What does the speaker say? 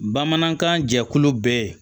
Bamanankan jɛkulu bɛɛ